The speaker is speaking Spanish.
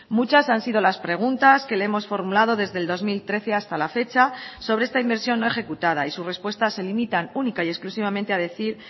muchas han sido las preguntas que le hemos formulado desde el dos mil trece hasta la fecha sobre esta inversión no ejecutada y su respuestas se limitan única y exclusivamente a decir